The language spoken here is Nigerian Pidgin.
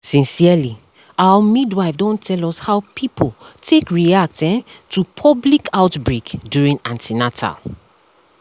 sincerely our midwife don tell us how people take react um to public outbreak during an ten atal